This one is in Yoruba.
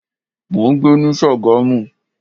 Mo ń gbé ní Sagamu.